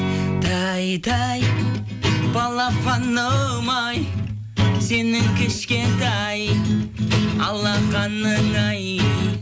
тәй тәй балапаным ай сенің кішкентай алақаның ай